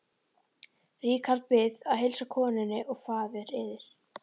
Richard Bið að heilsa konunni og faðir yðar.